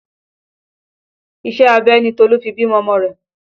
Iṣẹ́ abẹ ni Tolu fi bí ọmọ rẹ̀